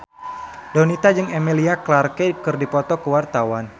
Donita jeung Emilia Clarke keur dipoto ku wartawan